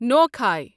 نوکھاے